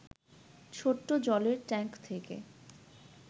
ছোট্ট জলের ট্যাঙ্ক থেকে